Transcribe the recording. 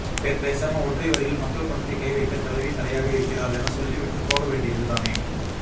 பேசாம ஒற்றை வரியில் மக்கள் பணத்தை கை வைக்க தலைவி தடையாக இருக்கிறாள் என சொல்லி விட்டு போக வேண்டியதுதானே